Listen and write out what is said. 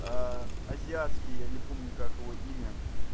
аа азиатский я не помню как его имя